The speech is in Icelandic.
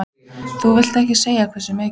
Þú vilt ekkert segja hversu mikið?